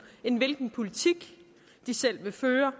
end hvilken politik de selv vil føre